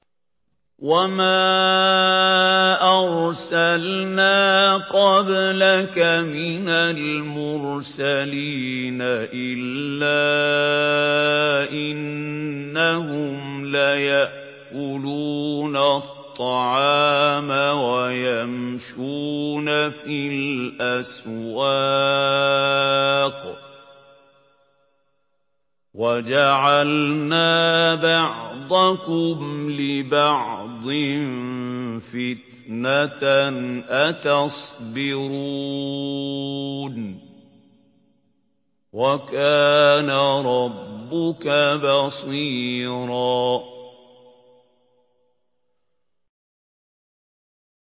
وَمَا أَرْسَلْنَا قَبْلَكَ مِنَ الْمُرْسَلِينَ إِلَّا إِنَّهُمْ لَيَأْكُلُونَ الطَّعَامَ وَيَمْشُونَ فِي الْأَسْوَاقِ ۗ وَجَعَلْنَا بَعْضَكُمْ لِبَعْضٍ فِتْنَةً أَتَصْبِرُونَ ۗ وَكَانَ رَبُّكَ بَصِيرًا